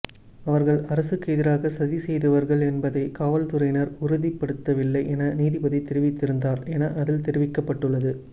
அவர்கள் அரசுக்கு எதிராக சதி செய்தவர்கள் என்பதை காவல்துறையினர் உறுதிப்படுத்தவில்லை என நீதிபதி தெரிவித்திருந்தார் என அதில் தெரிவிக்கப்பட்டுள்ளது